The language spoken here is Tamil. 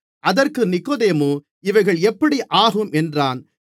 அதற்கு நிக்கொதேமு இவைகள் எப்படி ஆகும் என்றான்